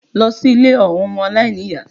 Lọ sí ilé àwọn ọmọ aláìníyàá!